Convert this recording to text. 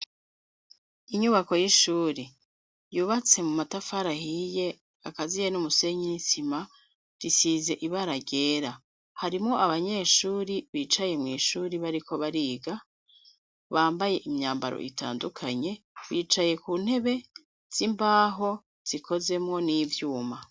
Inyubako y'ishuri yubatse mu matafarahiye akaziye n'umusenyi nisima risize ibarargyera harimo abanyeshuri bicaye mw'ishuri bariko bariga bambaye imyambaro itandukanye bicaye ku ntebe z'imbaho zikozemwo n'ivyo iwuma.